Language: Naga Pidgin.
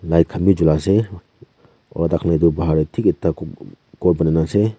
light khan be jola ase aru tai khan etu bahar teh thik ekta ghum ghum ghor bana loise.